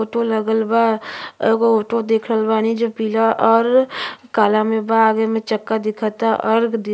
Auto लगल बा। एगो ऑटो देख रहल बानी जो पीला और काला में बा आगे में चक्का दिखता और --